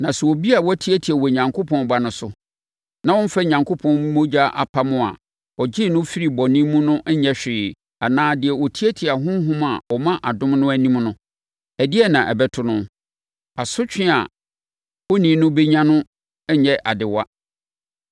Na obi a watiatia Onyankopɔn Ba no so, na ɔmmfa Onyankopɔn mogya apam no a ɛgyee no firii bɔne mu no nyɛ hwee anaa deɛ ɔtiatia Honhom a ɔma adom no anim no, ɛdeɛn na ɛbɛto no? Asotwe a onii no bɛnya no nnyɛ adewa.